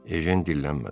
Ejen dillənmədi.